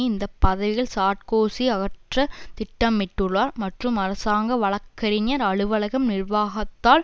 இந்த பதவிகளை சார்க்கோசி அகற்றத் திட்டமிட்டுள்ளார் மற்றும் அரசாங்க வழக்கறிஞர் அலுவலகம் நிர்வாகத்தால்